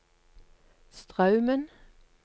Straumen